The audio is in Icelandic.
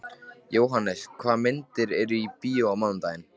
Jóhannes, hvaða myndir eru í bíó á mánudaginn?